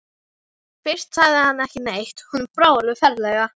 Fyrst sagði hann ekki neitt, honum brá alveg ferlega.